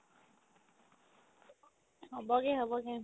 হ'বগে হ'বগে